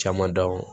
Caman dɔn